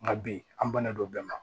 Nka bi an bannen don bɛɛ ma